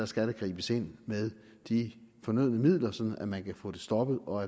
skal gribes ind med de fornødne midler sådan at man kan få det stoppet og